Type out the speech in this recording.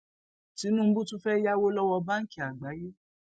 tinubu tún fẹẹ yáwó lọwọ báńkì àgbáyé